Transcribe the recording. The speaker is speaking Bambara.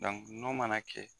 n'o mana kɛ